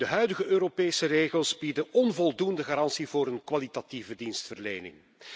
De huidige Europese regels bieden onvoldoende garanties voor een kwalitatieve dienstverlening.